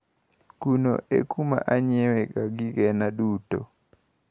Kuno e kuma anyiewega gigena duto.